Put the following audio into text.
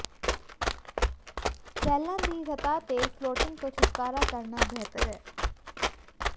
ਸ਼ੈੱਲਾਂ ਦੀ ਸਤ੍ਹਾ ਤੇ ਫਲੋਟਿੰਗ ਤੋਂ ਛੁਟਕਾਰਾ ਕਰਨਾ ਬਿਹਤਰ ਹੈ